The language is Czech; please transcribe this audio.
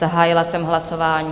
Zahájila jsem hlasování.